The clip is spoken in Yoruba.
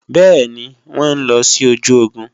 Bẹ́ẹ̀ni, wọn ń lọ sí ojú ogun